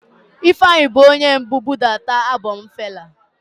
Ifeanyi bu onye mbu budata album Fela.